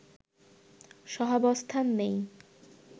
সহাঅবস্থান নেই